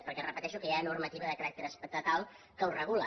perquè ho repeteixo hi ha normativa de caràcter estatal que ho regula